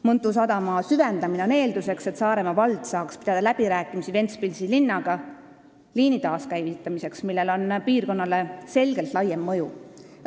Mõntu sadama süvendamine on eelduseks, et Saaremaa vald saaks pidada läbirääkimisi Ventspilsi linnaga liini taaskäivitamiseks, millel on piirkonnale selgelt laiem mõju.